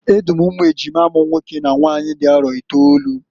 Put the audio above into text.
E du m umu ejima m nwoke na nwanyị dị arọ itolu.